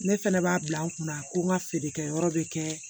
Ne fɛnɛ b'a bila n kunna ko n ka feerekɛ yɔrɔ bɛ kɛ